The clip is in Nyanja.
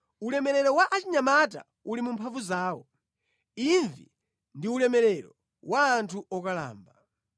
Ulemerero wa achinyamata uli mu mphamvu zawo, imvi ndi ulemerero wa anthu okalamba.